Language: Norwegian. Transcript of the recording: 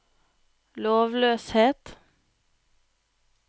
lovløshet